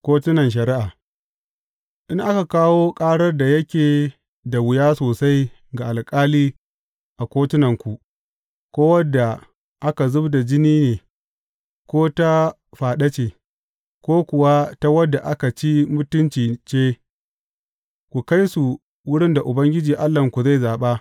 Kotunan Shari’a In aka kawo ƙarar da yake da wuya sosai ga alƙali a kotunanku, ko wadda aka zub da jini ne, ko ta faɗa ce, ko kuwa ta wadda aka ci mutunci ce, ku kai su wurin da Ubangiji Allahnku zai zaɓa.